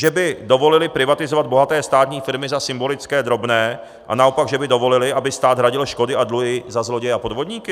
Že by dovolili privatizovat bohaté státní firmy za symbolické drobné, a naopak že by dovolili, aby stát hradil škody a dluhy za zloděje a podvodníky?